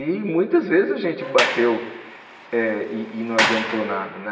E muitas vezes a gente bateu eh e não adiantou nada.